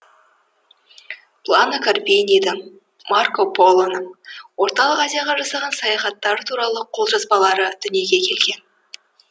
плано карпинидің марко полоның орталық азияға жасаған саяхаттары туралы жол жазбалары дүниеге келген